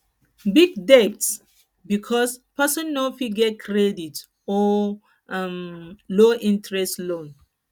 big debt because person no fit get credit or um low interest loans